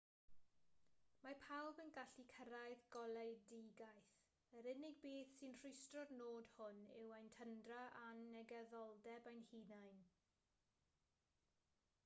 mae pawb yn gallu cyrraedd goleuedigaeth yr unig beth sy'n rhwystro'r nod hwn yw ein tyndra a'n negyddoldeb ein hunain